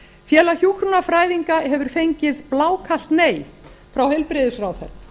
félag hjúkrunarfræðinga hefur fengið blákalt nei frá heilbrigðisráðherra